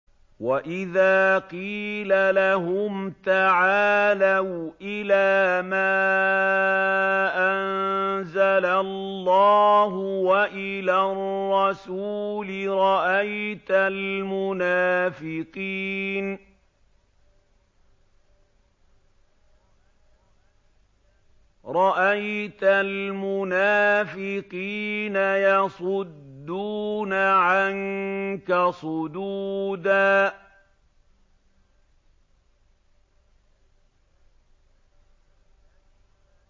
وَإِذَا قِيلَ لَهُمْ تَعَالَوْا إِلَىٰ مَا أَنزَلَ اللَّهُ وَإِلَى الرَّسُولِ رَأَيْتَ الْمُنَافِقِينَ يَصُدُّونَ عَنكَ صُدُودًا